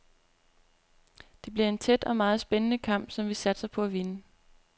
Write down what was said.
Det bliver en tæt og meget spændende kamp, som vi satser på at vinde.